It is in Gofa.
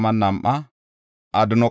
Yoora yaray 112;